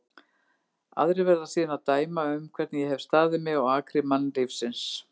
Aðrir verða síðan að dæma um hvernig ég hef staðið mig á akri mannlífsins.